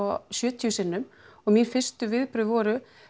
sjötíu sinnum og mín fyrstu viðbrögð voru